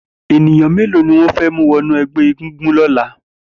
Éniyàn méló niwọn fè mú wọ̀nú ẹgbẹ égúngún lọ̀lá?